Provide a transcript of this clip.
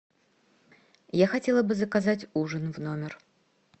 я хотела бы заказать ужин в номер